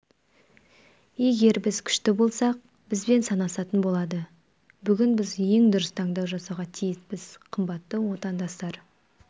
егер біз күшті болсақ бізбен санасатын болады бүгін біз ең дұрыс таңдау жасауға тиіспіз қымбатты отандастар